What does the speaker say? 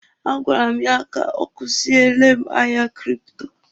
A gwara m ya ka ọ kuziele m ahịa kripto.